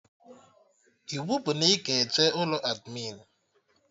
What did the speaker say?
Iwu bụ na ị ga-eje ụlọ admịn